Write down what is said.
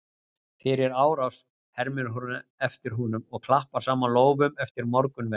Fyrir árás? hermir hún eftir honum og klappar saman lófum eftir morgunverði.